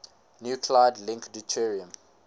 nuclide link deuterium